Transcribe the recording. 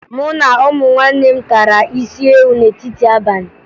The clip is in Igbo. Mụ na ụmụnne m tara isiewu n'etiti abalị